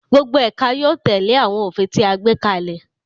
Gbogbo ẹka yóò tẹle awọn ofin ti a gbe kalẹ